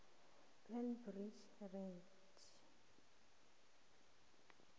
plant breeders right